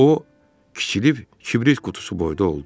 O kiçilib kibrit qutusu boyda oldu.